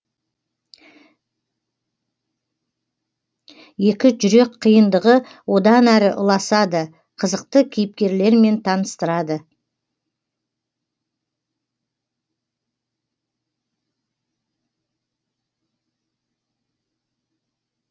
екі жүрек қиындығы одан әрі ұласады қызықты кейіпкерлермен таныстырады